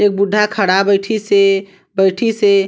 ए बूढ़ा खड़ा बैठी से बैठी से --